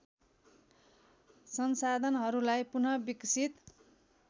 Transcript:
संसाधनहरूलाई पुन विकसित